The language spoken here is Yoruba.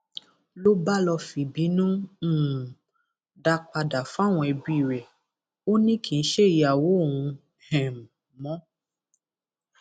ló bá lọọ fìbínú um dá a padà fáwọn ẹbí rẹ ò ní kì í ṣe ìyàwó òun um mọ